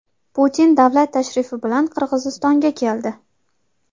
Putin davlat tashrifi bilan Qirg‘izistonga keldi.